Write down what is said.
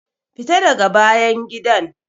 Fita daga bayan gidan!